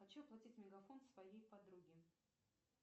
хочу оплатить мегафон своей подруге